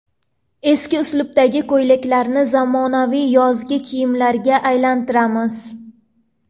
Eski uslubdagi ko‘ylaklarni zamonaviy yozgi kiyimlarga aylantiramiz .